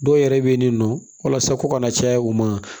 Dɔw yɛrɛ bɛ yen nin nɔ walasa ko kana caya u ma